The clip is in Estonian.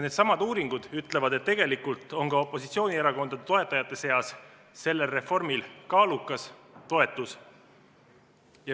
Needsamad uuringud ütlevad, et tegelikult on ka opositsioonierakondade toetajate seas sellel reformil kaalukas toetus.